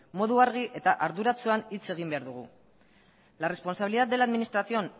modu argi eta arduratxoan hitz egin behar dugu la responsabilidad de la administración